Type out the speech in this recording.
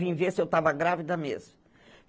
Vim ver se eu estava grávida mesmo.